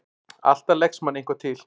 Alltaf leggst manni eitthvað til.